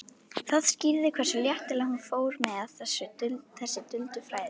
Það skýrði hversu léttilega hún fór með þessi duldu fræði.